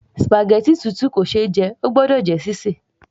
spaghetti tútù kò ṣe é jẹ, óò gbọ́dọ̀ jẹ́ sí sè